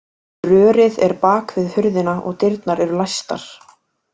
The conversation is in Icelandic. Rörið er bak við hurðina og dyrnar eru læstar